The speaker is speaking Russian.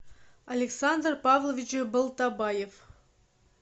александр павлович балтабаев